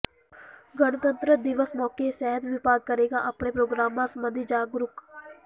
ਗਣਤੰਤਰ ਦਿਵਸ ਮੌਕੇ ਸਿਹਤ ਵਿਭਾਗ ਕਰੇਗਾ ਆਪਣੇ ਪ੍ਰੋਗਰਾਮਾਂ ਸਬੰਧੀ ਜਾਗਰੂਕ